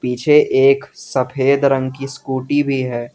पीछे एक सफेद रंग की स्कूटी भी है।